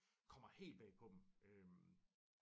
Kommer helt bag på dem